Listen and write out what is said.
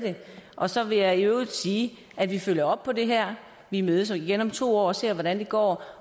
det og så vil jeg i øvrigt sige at vi følger op på det her vi mødes igen om to år og ser hvordan det går